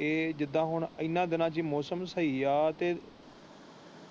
ਇਹ ਜਿੰਦਾ ਹੁਣ ਇਹਨਾਂ ਦਿਨਾਂ ਵਿੱਚ ਮੌਸਮ ਸਹੀ ਹੈ ਤੇ